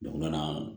U nana